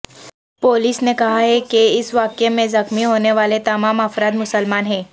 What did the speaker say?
police نے کہا ہے کہ اس واقعے میں زخمی ہونے والے تمام افراد مسلمان ہیں